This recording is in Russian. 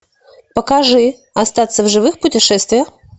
покажи остаться в живых путешествие